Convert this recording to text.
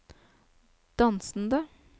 dansende